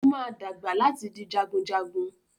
Ó máa dàgbà láti di jagunjagun.